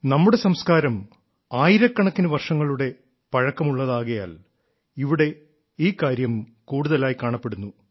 നമ്മുടെ സംസ്കാരം ആയിരക്കണക്കിന് വർഷം പഴക്കമുള്ളതാകയാൽ ഇവിടെ ഈ കാര്യം കൂടുതലായി കാണപ്പെടുന്നു